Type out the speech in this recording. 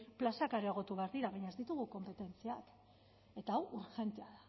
plazak areagotu behar dira baina ez ditugu konpetentziak eta hau urgentea